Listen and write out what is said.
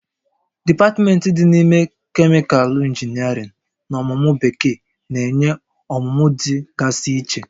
Dipatmentị dị n'ime Kemịkalụ Injiniarịn na ọmụmụ Bekee na-enye ọmụmụ dị gasị iche